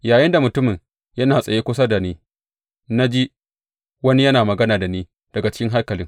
Yayinda mutumin yana tsaye kusa da ni, na ji wani yana magana da ni daga cikin haikalin.